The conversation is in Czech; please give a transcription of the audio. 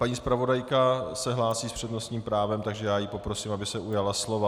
Paní zpravodajka se hlásí s přednostním právem, takže ji poprosím, aby se ujala slova.